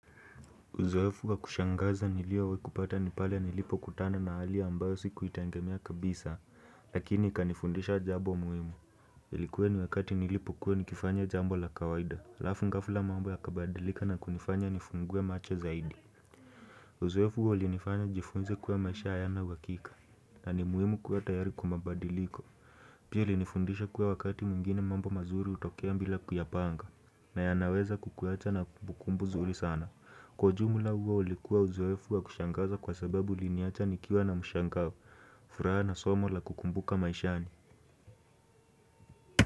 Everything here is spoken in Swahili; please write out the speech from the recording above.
Uzoefu wa kushangaza niliyo wahi kupata nipale nilipo kutana na hali ambayo siku itengemia kabisa lakini kanifundisha jambo muhimu Ilikuwe ni wakati nilipo kuwa nikifanya jambo la kawaida alafu ngafla mambo ya kabadilika na kunifanya nifungue macho zaidi Uzoefu huo ulinifanya jifunze kuwe maisha hayana uhakika na ni muhimu kuwa tayari kwa mabadiliko Pia ilinifundisha kuwa wakati mwingine mambo mazuri utokea mbila kuyapanga na ya naweza kukuacha na kukumbu zuri sana. Kwa ujumla huo ulikuwa uzoefu wa kushangaza kwa sababu iliniacha nikiwa na mshangao. Furaha na somo la kukumbuka maishani.